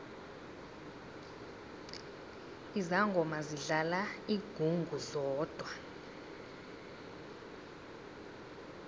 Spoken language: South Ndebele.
izangoma zidlala ingungu zodwa